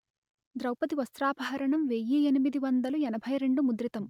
ద్రౌవది వస్త్రాపహరణం వెయ్యి ఎనిమిది వందలు ఎనభై రెండు ముద్రితం